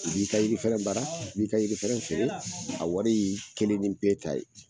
B'i ka jiri fɛrɛn bara b'i ka jiri fɛrɛn feere a wari y'i kelen ni pe ta ye.